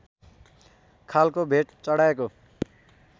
खालको भेट चढाएको